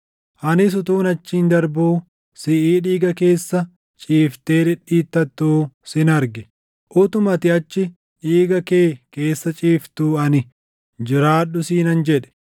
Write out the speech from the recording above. “ ‘Anis utuun achiin darbuu siʼii dhiiga kee keessa ciiftee dhidhiitattu sin arge; utuma ati achi dhiiga kee keessa ciiftuu ani, “Jiraadhu!” siinan jedhe.